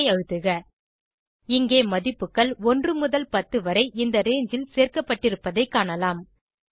எண்டரை அழுத்துக இங்கே மதிப்புகள் 1 முதல் 10 வரை இந்த ரங்கே ல் சேர்க்கப்பட்டிருப்பதைக் காணலாம்